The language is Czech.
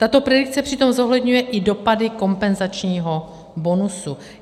Tato predikce přitom zohledňuje i dopady kompenzačního bonusu.